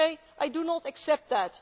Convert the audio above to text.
I do not accept that.